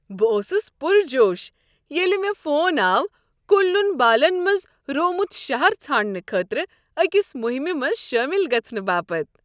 بہٕ اوسس پرجوش ییٚلہ مےٚ فون آو کن لون بالن منٛز روومت شہر ژھانڈنہٕ خٲطرٕ أکس مہمہ منٛز شٲمل گژھنہٕ باپت۔